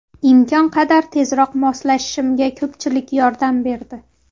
Imkon qadar tezroq moslashishimga ko‘pchilik yordam berdi.